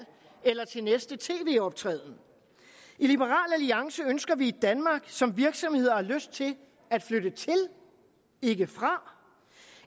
eller til næste tv optræden i liberal alliance ønsker vi et danmark som virksomheder har lyst til at flytte til ikke fra